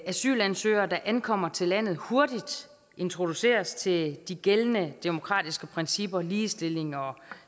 asylansøgere der ankommer til landet hurtigt introduceres til de gældende demokratiske principper ligestilling og